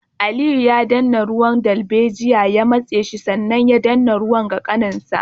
Aliyu ya danne ganyen darbejiya ya matse shi sannan ya danna ruwan ga kanin nasa